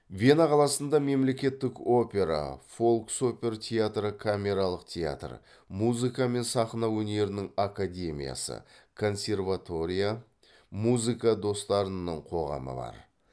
вена қаласында мемлекеттік опера фолк сопер театры камералық театр музыка мен сахна өнерінің академиясы консерватория музыка достарының қоғамы бар